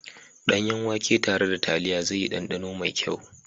Danyen wake tare da taliya zai yi danɗano mai kyau.